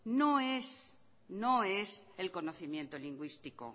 no es el conocimiento lingüístico